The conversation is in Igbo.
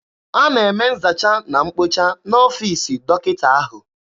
A na-eme nzacha na mkpocha n'ọfiisi dọkịta ahụ.